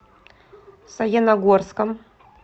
саяногорском